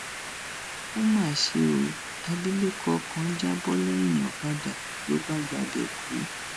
ó mà ṣe ọ abilékọ kan já bọ lẹyìn ọkadà ló bá gbabẹ kú